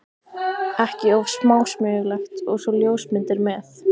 ekki of smásmugulegt- og svo ljósmyndir með.